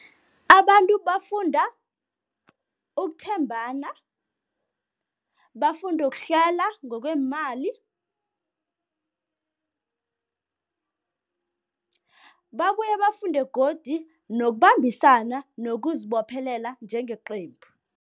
Abantu bafunda ukuthembana, bafunde ukuhlela ngokweemali, babuye bafunde godu nokubambisana nokuzibophelela njengeqembu.